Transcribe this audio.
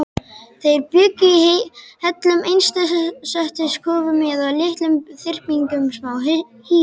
Þeir bjuggu í hellum, einsetukofum eða litlum þyrpingum smáhýsa.